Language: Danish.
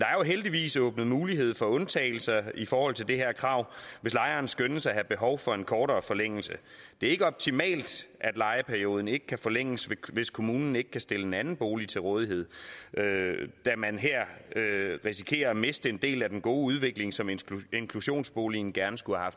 heldigvis åbnet mulighed for undtagelser i forhold til det her krav hvis lejeren skønnes at have behov for en kortere forlængelse det er ikke optimalt at lejeperioden ikke kan forlænges hvis kommunen ikke kan stille en anden bolig til rådighed da man her risikerer at miste en del af den gode udvikling som inklusionsboligen gerne skulle have